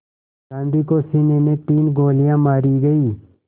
गांधी को सीने में तीन गोलियां मारी गईं